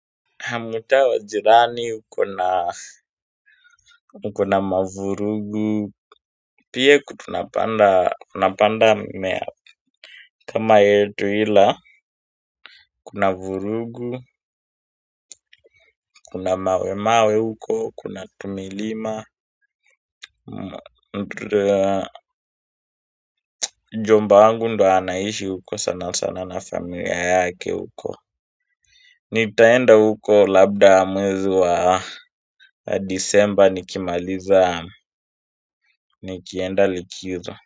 Kamtaa wajirani, ukona mavurugu pia tunapanda tunapanda mimea kama yetu ila, kuna vurugu, kuna mawe mawe huko, kuna tumilima mjomba wangu ndo anaishi huko sana sana na familia yake huko nitaenda huko labda mwezi wa disemba nikimaliza nikienda likizo.